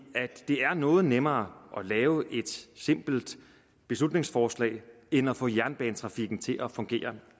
at det er noget nemmere at lave et simpelt beslutningsforslag end at få jernbanetrafikken til at fungere